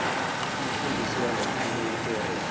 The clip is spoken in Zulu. umfundisi welearning area